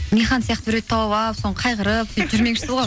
нихан сияқты біреуді тауып алып қайғырып сөйтіп жүрмекшісіз ғой